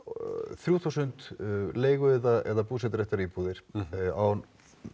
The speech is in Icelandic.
þrjú þúsund leigu eða búseturéttaríbúðir á